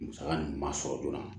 Musaka ninnu ma sɔrɔ joona